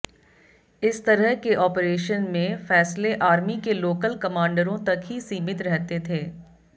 इस तरह के ऑपरेशन में फैसले आर्मी के लोकल कमांडरों तक ही सीमित रहते थे